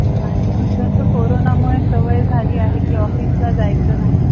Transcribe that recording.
आणि तसं कोरोना मुळे सवय झालीये कि office ला जायचं नाही .